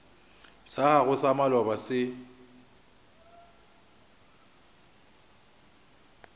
sa gago sa maloba se